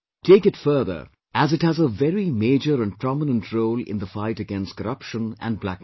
Take it further as it has a very major and prominent role in the fight against corruption and black money